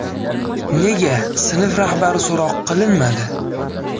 Nega sinf rahbari so‘roq qilinmadi.